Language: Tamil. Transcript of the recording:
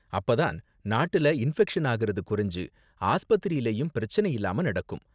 அப்ப தான் நாட்டுல இன்பெக்ஷன் ஆகுறது குறைஞ்சு ஆஸ்பத்திரிலயும் பிரச்சனை இல்லாம நடக்கும்.